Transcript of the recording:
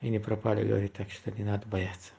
и не пропали говорит так что не надо бояться